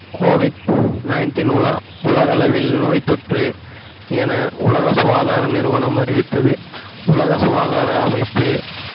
COVID-19 உல~ உலகளவில் நோய்த்தொற்று என உலக சுகாதார நிறுவனம் அறிவித்தது உலக சுகாதார அமைப்பு